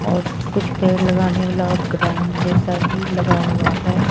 और कुछ पेड़ लगाने वाला ग्राउंड जैसा भी लगा हुआ है।